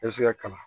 I bɛ se ka kalan